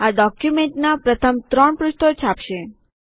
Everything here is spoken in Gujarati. આ ડોક્યુમેન્ટનાં પ્રથમ ત્રણ પૃષ્ઠો છાપશે